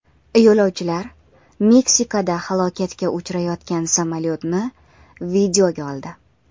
Yo‘lovchilar Meksikada halokatga uchrayotgan samolyotni videoga oldi .